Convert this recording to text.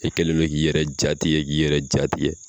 I kɛlɛ don k'i yɛrɛ ja tigɛ k'i yɛrɛ ja tigɛ